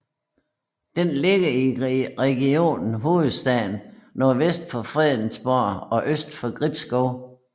Den ligger i Region Hovedstaden nordvest for Fredensborg og øst for Gribskov